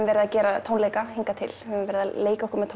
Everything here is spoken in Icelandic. verið að gera tónleika hingað til verið að leika okkur með